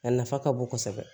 A nafa ka bon kosɛbɛ